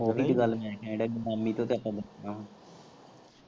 ਓਹੀ ਗੱਲ ਮੈਂ ਹੀ ਕੈਨ ਦਿਆ ਮਾਮੀ ਤੋਂ ਤਾਂ ਆਪਾਂ ਪੁੱਛਣਾ ਵਾ।